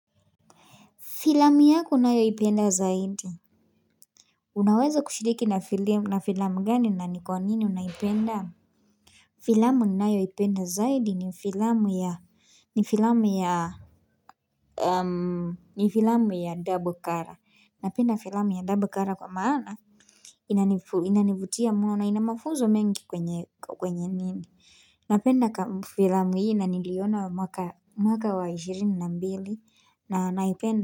Filamu yako unayoipenda zaidi Unaweza kushiriki na filamu gani na ni kwa nini unaipenda? Filamu ninayoipenda zaidi ni filamu ya ni filamu ya, ni filamu ya double cara. Napenda filamu ya double cara kwa maana Inanivutia muna na inamafuzo mengi kwenye nini. Napenda filamu yi na niliona wa mwaka wa 20 na mbili na naipenda.